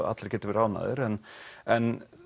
allir geti verið ánægðir en en